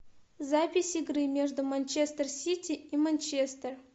запись игры между манчестер сити и манчестер